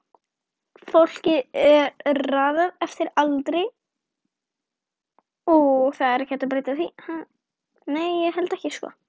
Fólki er raðað eftir aldri